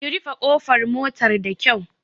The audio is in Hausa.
Ki rufe ƙofar motar da kyau!